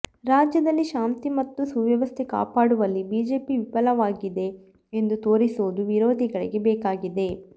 ರಾಜ್ಯದಲ್ಲಿ ಶಾಂತಿ ಮತ್ತು ಸುವ್ಯವಸ್ಥೆ ಕಾಪಾಡುವಲ್ಲಿ ಬಿಜೆಪಿ ವಿಫಲವಾಗಿದೆ ಎಂದು ತೋರಿಸುವುದು ವಿರೋಧಿಗಳಿಗೆ ಬೇಕಾಗಿದೆ